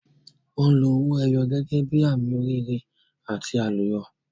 Wọn lo owó ẹyọ gẹ́gẹ́ bí àmì oríire àti àlùyọ.